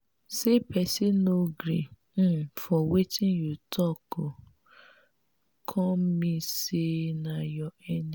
say pesin no gree um for wetin you talk no um come mean sey na your enemy.